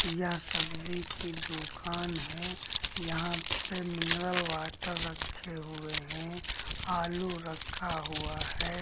यह सब्जी की दुकान है यहां पे मिनरल वाटर रखे हुए हैं आलू रखा हुआ है।